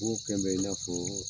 N ko kɛn bɛ i n'a fɔ